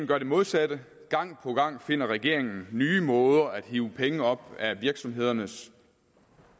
gør det modsatte gang på gang finder regeringen nye måder at hive penge op af virksomhedernes